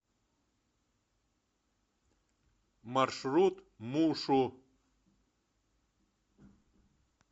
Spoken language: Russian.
маршрут мушу